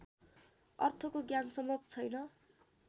अर्थको ज्ञान सम्भव छैन